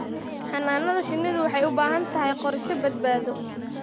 Xannaanada shinnidu waxay u baahan tahay qorshe badbaado.